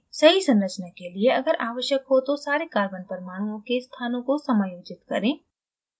सही संरचना के लिए अगर अवश्यक हो तो सारे carbon परमाणुओं के स्थानों को समायोजित करें